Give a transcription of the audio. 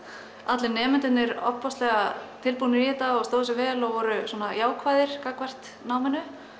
allir nemendurnir ofboðslega tilbúnir í þetta og stóðu sig vel og voru jákvæðir gagnvart náminu